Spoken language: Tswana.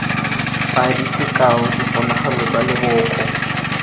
padi sekao diponagalo tsa leboko